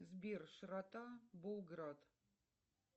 сбер широта болград